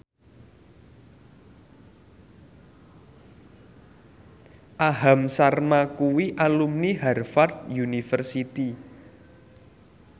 Aham Sharma kuwi alumni Harvard university